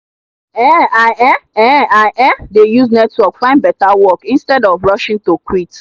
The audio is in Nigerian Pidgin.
um i um um i um dey use network find better work instead of rushing to quit.